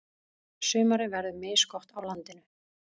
Sumarið verður misgott á landinu.